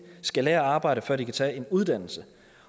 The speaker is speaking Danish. skal lære at arbejde før de kan tage en uddannelse